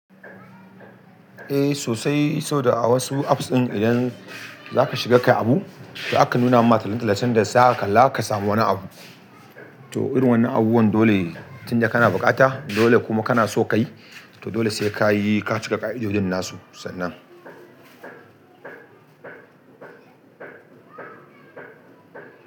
Eh sosai, sau da a wasu apps ɗin idan zaka shiga ka yi abu to aka nuna maka tallace-tallacen da zaha kalla ka samu wani abu. To irin wannan abubuwan dole tun da kana bukata, dole kuma kana so ka yi, to dole sai ka yi, ka cika ka'idodin nasu sannan.